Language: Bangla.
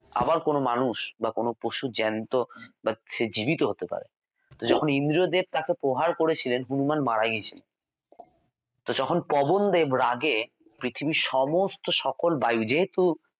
আবার কোনও মানুষ বা কোনও পশুর জ্যান্ত বা সে জীবিত হতে পারে যখন ইন্দ্রদেব তাঁকে প্রহার করেছিলেন হনুমান মারা গিয়েছিলেন তখন পবনদেব রাগে পৃথিবীর সমস্ত সকল বায়ু যেহেতু